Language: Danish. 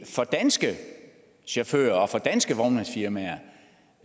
for danske chauffører og for danske vognmandsfirmaer